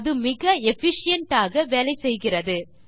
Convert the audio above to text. அது மிக எஃபிஷியன்ட் ஆக வேலை செய்கிறது